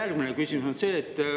Järgmine küsimus on see.